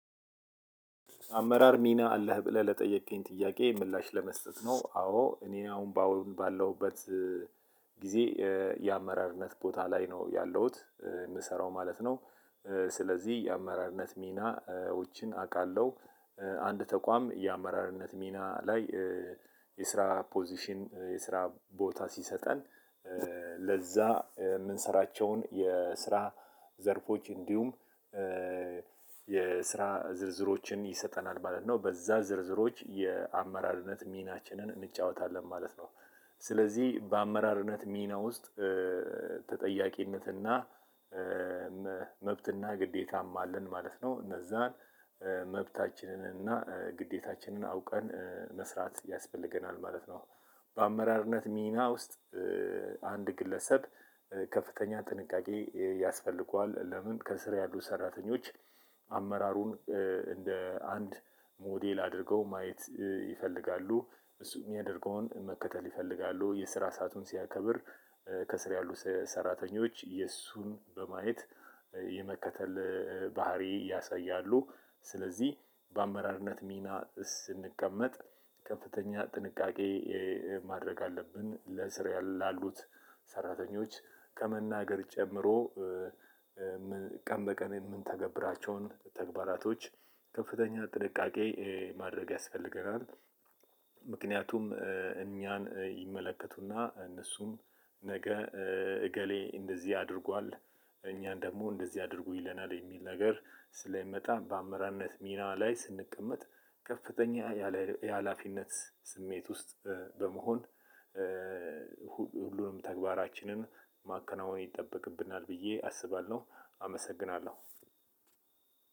አመራር ሚና አለህ ብለህ ለጠየቅከኝ ጥያቄ ምላሽ ለመስጠት ነው አዎ እኔን አሁን ባለውበት ጊዜ የአመራርነት ቦታ ላይ ነው ያለውት የምሰራው ማለት ነው። ስለዚህ የአመራርነት ሚናዎችን አውቃለሁ። አንድ ተቋም የአመራርነት ሚና ላይ የስራ ፖዚሽን የስራ ቦታ ሲሰጠን ለዛ የምንሰራቸውን የስራ ዘርፎች እንዲሁም የስራ ዝርዝሮችን ይሰጠናል ማለት ነው። በዛ ዝርዝሮች የአመራርነት ሚናችንን እንጫወታለን ማለት ነው። ስለዚህ በአመራርነት ሚና ውስጥ ተጠያቂነትና መብት እና ግዴታም አለን ማለት ነው። እነዛን መብታችንን እና ግዴታችንን አውቀን መስራት ያስፈልገናል ማለት ነው። በአመራርነት ሚና ውስጥ አንድ ግለሰብ ከፍተኛ ጥንቃቄ ያስፈልገዋል። ለምን ከስር ያሉ ሰራተኞች አመራሩን እንደ አንድ ሞዴል አድርገው ማየት ይፈልጋሉ። እሱ የሚያደርገውን መከተል ይፈልጋሉ። የስራ ሰአቱን ሲያከብር። ከስር ያሉ ሰራተኞች የእሱን በማየት የመከተል ባህሪ ያሳያሉ። ስለዚህ በአመራርነት ሚና ስንቀመጥ ከፍተኛ ጥንቃቄ ማድረግ አለብን። ለስር ላሉት ሰራተኞች ከመናገር ጨምሮ ቀን በቀን የምንተገብራቸውን ተግባራቶች ከፍተኛ ጥንቃቄ ማድረግ ያስፈልገናል። ምክንያቱም እኛን ይመለከቱና እነሱም ነገ እገሌ እንደዚህ አድርጓል። እኛን ደግሞ እንደዚህ አድርጉ ይለናል የሚል ነገር ስለሚመጣ በአመራርነት ሚና ላይ ስንቀመጥ ከፍተኛ የሀላፊነት ስሜት ውስጥ በመሆን ሁሉንም ተግባራችንን ማከናወን ይጠበቅብናል። ብዬ አስባለሁ። አመሰግናለሁ።